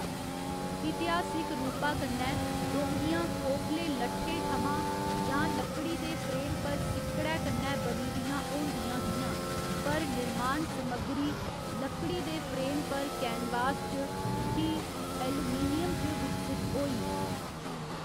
इतिहासिक रूपा कन्नै, डोंगियां खोखले लट्ठे थमां जां लकड़ी दे फ्रेम पर सिक्कड़ै कन्नै बनी दियां होंदियां हियां, पर निर्माण समग्गरी लकड़ी दे फ्रेम पर कैनवास च, फ्ही एल्यूमीनियम च विकसत होई।